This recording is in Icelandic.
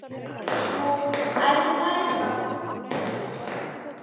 Jú, ætli það ekki bara!